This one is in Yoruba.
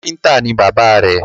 Káfíntà ní bàbá rẹ̀